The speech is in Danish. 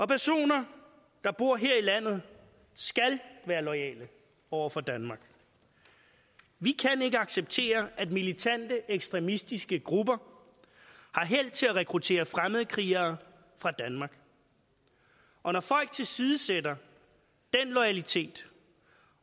personer der bor her i landet skal være loyale over for danmark vi kan ikke acceptere at militante ekstremistiske grupper har held til at rekruttere fremmedkrigere fra danmark og når folk tilsidesætter den loyalitet